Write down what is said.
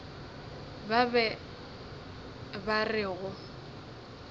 ba be ba re go